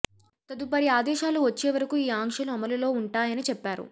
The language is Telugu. తదుపరిఆదేశాలు వచ్చే వరకు ఈ ఆంక్షలు అమలులో ఉంటాయని చెప్పారు